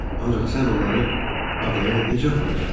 Ancaq sən onları adaya necə aparacaqsan?